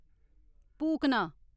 पूकना